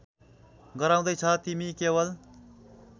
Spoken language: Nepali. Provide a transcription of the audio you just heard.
गराउँदैछ तिमी केवल